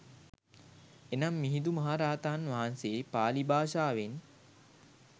එනම් මිහිඳු මහරහතන් වහන්සේ පාළි භාෂාවෙන්